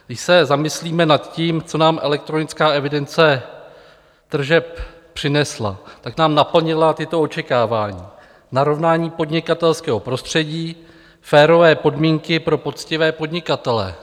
Když se zamyslíme nad tím, co nám elektronická evidence tržeb přinesla, tak nám naplnila tato očekávání: narovnání podnikatelského prostředí, férové podmínky pro poctivé podnikatele.